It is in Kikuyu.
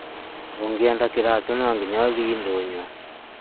ũngĩenda kiratũ no nginya ũthiĩ ndũnyũ